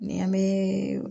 Ni an bɛ